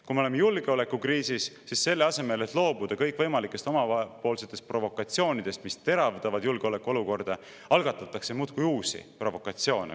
Kui me oleme julgeolekukriisis, siis selle asemel, et loobuda kõikvõimalikest omapoolsetest provokatsioonidest, mis teravdavad julgeolekuolukorda, algatatakse muudkui uusi provokatsioone.